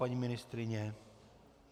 Paní ministryně?